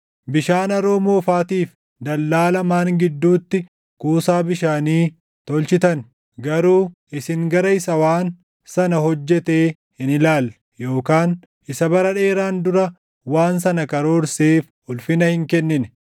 Bishaan Haroo Moofaatiif dallaa lamaan gidduutti kuusaa bishaanii tolchitan; garuu isin gara Isa waan sana hojjetee hin ilaalle; yookaan Isa bara dheeraan dura waan sana karoorseef // ulfina hin kennine.